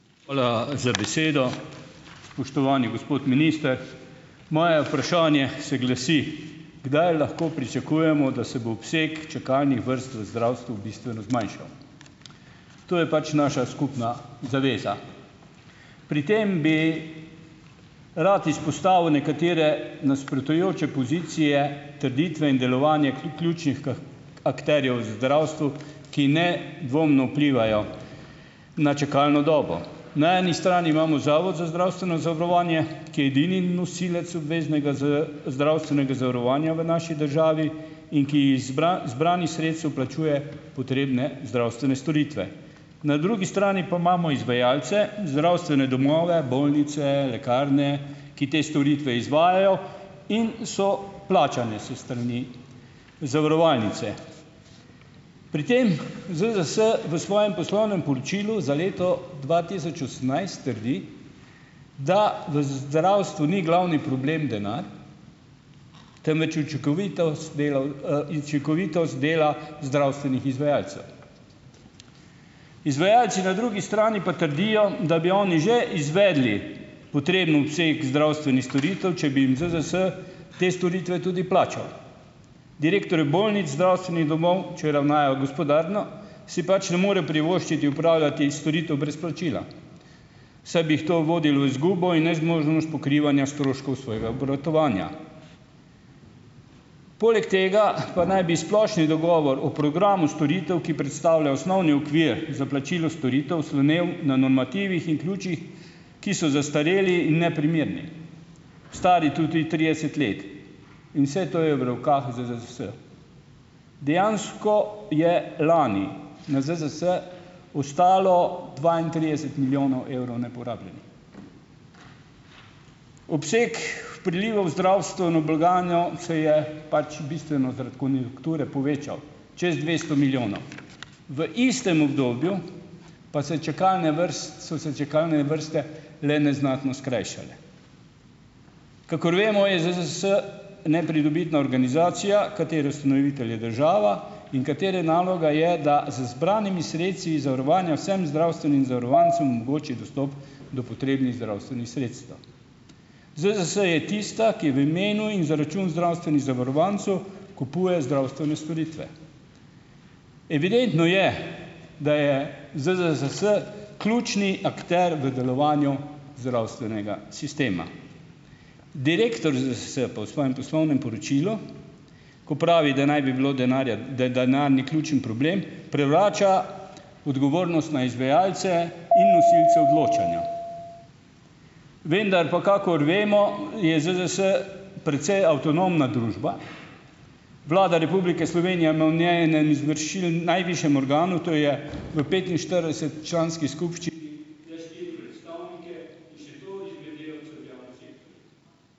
Hvala za besedo. Spoštovani gospod minister! Moje vprašanje se glasi: Kdaj lahko pričakujemo, da se bo obseg čakalnih vrst v zdravstvu bistveno zmanjšal? To je pač naša skupna zaveza. Pri tem bi rad izpostavil nekatere nasprotujoče pozicije, trditve in delovanje ključnih akterjev v zdravstvu, ki nedvomno vplivajo na čakalno dobo. Na eni strani imamo Zavod za zdravstveno zavarovanje, ki je edini nosilec obveznega zdravstvenega zavarovanja v naši državi in ki iz zbranih sredstev plačuje potrebne zdravstvene storitve. Na drugi strani pa imamo izvajalce, zdravstvene domove, bolnice, lekarne, ki te storitve izvajajo in so plačane s strani zavarovalnice. Pri tem ZZZS v svojem poslovnem poročilu za leto dva tisoč osemnajst trdi, da v zdravstvu ni glavni problem denar, temveč učinkovitost delo, učinkovitost dela zdravstvenih izvajalcev. Izvajalci na drugi strani pa trdijo, da bi oni že izvedli potreben obseg zdravstvenih storitev, če bi jim ZZZS te storitve tudi plačal. Direktorji bolnic, zdravstvenih domov, če ravnajo gospodarno, si pač ne morejo privoščiti opravljati storitev brez plačila, saj bi jih to vodilo v izgubo in nezmožnost pokrivanja stroškov svojega obratovanja. Poleg tega pa naj bi splošni dogovor o programu storitev, ki predstavljajo osnovni okvir za plačilo storitev, slonel na normativih in ključih, ki so zastareli in neprimerni, stari tudi trideset let, in vse to je v rokah ZZZS. Dejansko je lani na ZZZS ostalo dvaintrideset milijonov evrov neporabljenih. Obseg prilivov v zdravstveno blagajno se je pač bistveno zaradi konjunkture povečal, čez dvesto milijonov. V istem obdobju pa so se čakalne so se čakalne vrste le neznatno skrajšale. Kakor vemo, je ZZZS nepridobitna organizacija, katere ustanovitelj je država ž in katere naloga je, da z zbranimi sredstvi zavarovanja vsem zdravstvenim zavarovancem omogoči dostop do potrebnih zdravstvenih sredstev. ZZZS je tista, ki v imenu in za račun zdravstvenih zavarovancev kupuje zdravstvene storitve. Evidentno je, da je ZZZS ključni akter v delovanju zdravstvenega sistema. Direktor ZZZS pa v svojem poslovnem poročilu, ko pravi, da naj bi bilo denarja, da denar ni ključni problem, prevrača odgovornost na izvajalce in nosilce odločanja. Vendar pa, kakor vemo, je ZZZS precej avtonomna družba, Vlada Republike Slovenije ima najvišjem organu, to je v petinštirideset- članski skupščini le štiri predstavnike ...